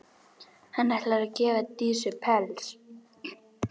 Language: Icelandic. Hann ætlar að gefa Dísu pels.